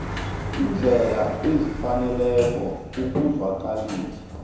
iindlela ezifaneleko ukuzwakalisa